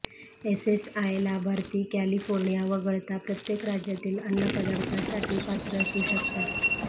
SSI लाभार्थी California वगळता प्रत्येक राज्यातील अन्नपदार्थासाठी पात्र असू शकतात